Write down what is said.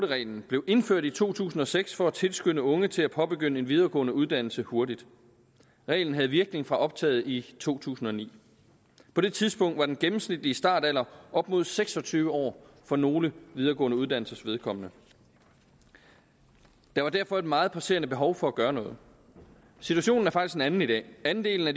reglen blev indført i to tusind og seks for at tilskynde unge til at påbegynde en videregående uddannelse hurtigt reglen havde virkning fra optaget i to tusind og ni på det tidspunkt var den gennemsnitlige startalder op mod seks og tyve år for nogle videregående uddannelsers vedkommende der var derfor et meget presserende behov for at gøre noget situationen er faktisk en anden i dag andelen af